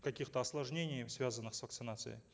каких то осложнений связанных с вакцинацией